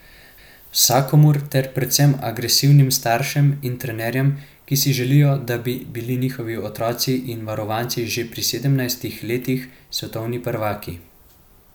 Vsakomur ter predvsem agresivnim staršem in trenerjem, ki si želijo, da bi bili njihovi otroci in varovanci že pri sedemnajstih letih svetovni prvaki.